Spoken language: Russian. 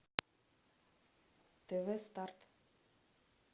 тв старт